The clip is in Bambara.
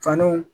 Faniw